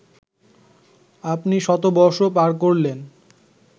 আপনি শতবর্ষ পার করলেন